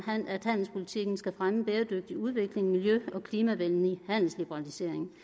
at handelspolitikken skal fremme bæredygtig udvikling og miljø og klimavenlig handelsliberalisering